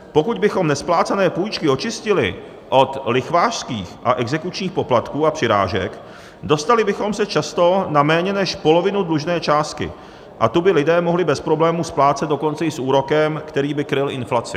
Pokud bychom nesplácené půjčky očistili od lichvářských a exekučních poplatků a přirážek, dostali bychom se často na méně než polovinu dlužné částky a tu by lidé mohli bez problémů splácet dokonce i s úrokem, který by kryl inflaci.